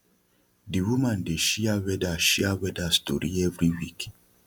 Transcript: the woman dey share weather share weather story every week